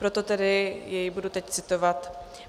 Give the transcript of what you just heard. Proto tedy jej budu teď citovat: